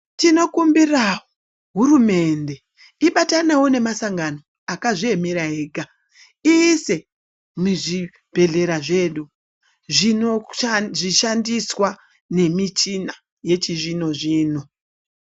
Tinokumbira hurumende ibatanewo nemasangano akazviemera ega iise muzvibhehlera zvedu zvishandiswa nemichina yachizvinozvino.